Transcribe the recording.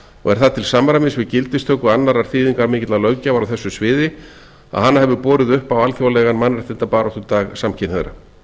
er það til samræmis við gildistöku annarrar þýðingarmikillar löggjafar á þessu sviði að hana hefur borið upp á alþjóðlegan mannréttindabaráttudag samkynhneigðra